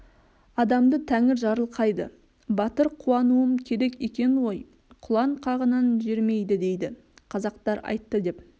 адамды тәңір жарылқайды батыр қуануым керек екен ғой құлан қағынан жерімейді дейді қазақтар айтты деп